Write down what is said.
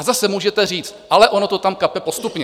A zase můžete říct: ale ono to tam kape postupně.